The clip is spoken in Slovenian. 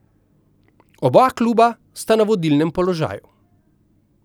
Oba kluba sta na vodilnem položaju.